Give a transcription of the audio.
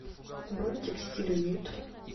бронь текстиль уют